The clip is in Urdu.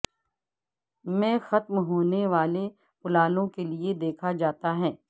میں ختم ہونے والے پلالوں کے لئے دیکھا جاتا ہے